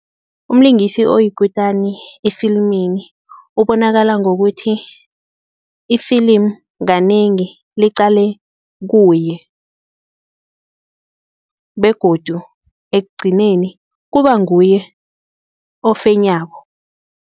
Umlingisi oyikutani efilimini ubonakala ngokuthi, i-film kanengi liqale kuye begodu ekugcineni kuba nguye ofenyako.